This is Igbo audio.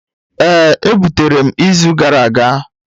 Ee e butere m izu gara aga